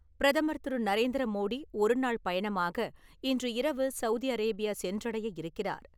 பிரதமர் திரு. நரேந்திர மோடி, ஒரு நாள் பயணமாக இன்று இரவு சவுதி அரேபியா சென்றடையவிருக்கிறார்.